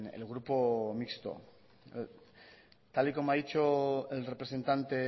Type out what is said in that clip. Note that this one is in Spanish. el grupo mixto tal y como ha dicho el representante